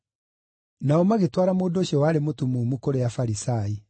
Nao magĩtwara mũndũ ũcio warĩ mũtumumu kũrĩ Afarisai.